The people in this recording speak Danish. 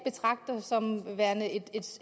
betragter som værende et